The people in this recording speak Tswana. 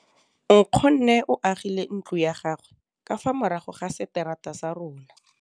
Nkgonne o agile ntlo ya gagwe ka fa morago ga seterata sa rona.